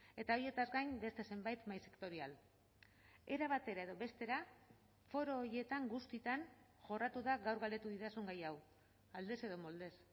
eta haietaz gain beste zenbait mahai sektorial era batera edo bestera foro horietan guztietan jorratu da gaur galdetu didazun gai hau aldez edo moldez